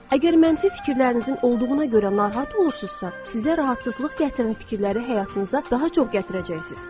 Əgər mənfi fikirlərinizin olduğuna görə narahat olursunuzsa, sizə narahatçılıq gətirən fikirləri həyatınıza daha çox gətirəcəksiniz.